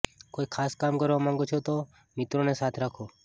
કોઇ ખાસ કામ કરવા માંગો છો તો મિત્રોને સાથે રાખો